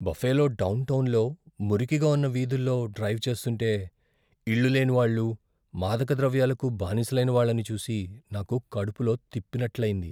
Buffalo డౌన్టౌన్లో మురికిగా ఉన్న వీధుల్లో డ్రైవ్ చేస్తుంటే ఇళ్ళు లేని వాళ్ళు, మాదకద్రవ్యాలకు బానిసలైన వాళ్ళని చూసి నాకు కడుపులో తిప్పినట్లయింది.